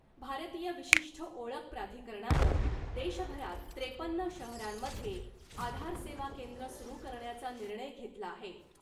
भारतीय विशिष्ठ ओळख प्राधिकरणानं देशभरात त्रेपन्न शहरांमध्ये आधार सेवा केंद्र सुरु करण्याचा निर्णय घेतला आहे .